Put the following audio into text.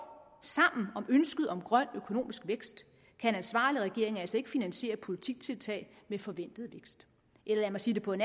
sammen om ønsket om grøn økonomisk vækst kan en ansvarlig regering altså ikke finansiere politiske tiltag med forventet vækst eller lad mig sige det på en